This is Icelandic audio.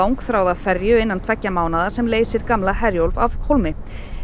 ferju innan tveggja mánaða sem leysir gamla Herjólf af hólmi